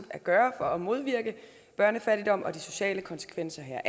at gøre for at modvirke børnefattigdommen og de sociale konsekvenser